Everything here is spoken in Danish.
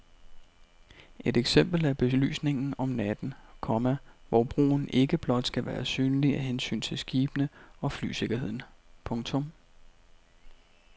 Et eksempel er belysningen om natten, komma hvor broen ikke blot skal være synlig af hensyn til skibene og flysikkerheden. punktum